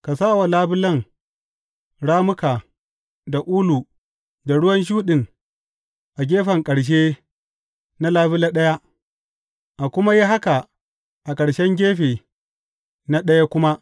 Ka sa wa labulen rammuka da ulu mai ruwan shuɗin a gefen ƙarshe na labule ɗaya, a kuma yi haka a ƙarshen gefe na ɗaya kuma.